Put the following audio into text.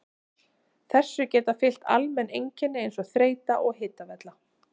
Þessu geta fylgt almenn einkenni eins og þreyta og hitavella.